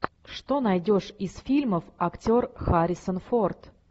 что найдешь из фильмов актер харрисон форд